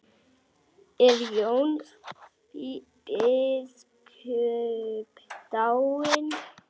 Er Jón biskup dáinn?